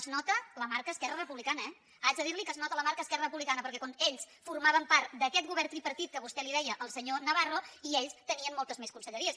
es nota la marca esquerra republicana eh haig de dir li que es nota la marca esquerra republicana perquè quan ells formaven part d’aquest govern tripartit que vostè li deia al senyor navarro ells tenien moltes més conselleries